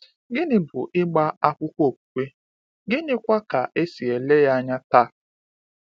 Gịnị bụ ịgba akwụkwọ okwukwe, gịnịkwa ka e si ele ya anya taa?